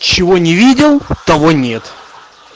чего не видел того нет